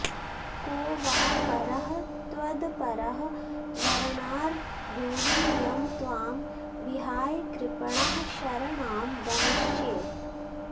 को वा परः त्वदपरः वरणार्हब्रूहि यं त्वां विहाय कृपणः शरणां गमिष्ये